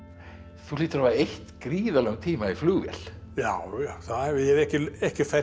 þú hlýtur að hafa eytt gríðarlegum tíma í flugvél já já ég hef ekki ekki fært